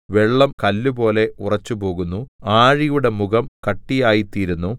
വെള്ളം കല്ലുപോലെ ഉറച്ചുപോകുന്നു ആഴിയുടെ മുഖം കട്ടിയായിത്തീരുന്നു